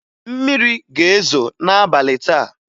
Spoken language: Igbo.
Mmiri ga-ezo n'abalị taa